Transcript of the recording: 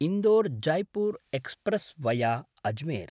Indore-Jaipur express via Ajmer